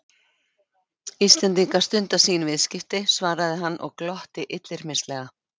Íslendingar stunda sín viðskipti, svaraði hann og glotti illyrmislega.